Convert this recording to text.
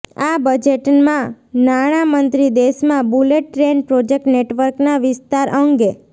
આ બજેટમાં નાણા મંત્રી દેશમાં બુલેટ ટ્રેન પ્રોજેક્ટ નેટવર્કના વિસ્તાર અંગે